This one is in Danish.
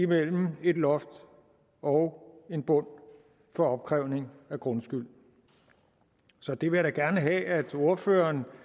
mellem et loft og en bund for opkrævning af grundskyld så det vil jeg da gerne have at ordføreren